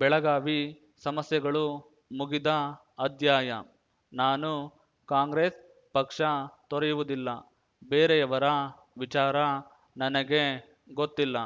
ಬೆಳಗಾವಿ ಸಮಸ್ಯೆಗಳು ಮುಗಿದ ಅಧ್ಯಾಯ ನಾನು ಕಾಂಗ್ರೆಸ್‌ ಪಕ್ಷ ತೊರೆಯುವುದಿಲ್ಲ ಬೇರೆಯವರ ವಿಚಾರ ನನಗೆ ಗೊತ್ತಿಲ್ಲ